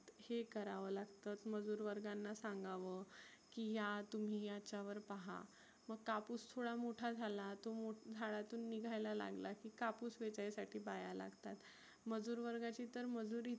हे कराव लागतं. मग मजुरवर्गांना सांगाव की या तुम्ही याच्यावर पहा मग कापुस थोडा मोठा झाला तो झाडातून निघायला लागलाय की कापुस वेचायसाठी बाया लागतात. मजुर वर्गाची तर मजुरी